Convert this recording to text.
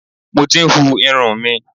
Mo ti ń hu irun mi.